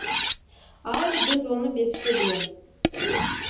ал біз оны беске білеміз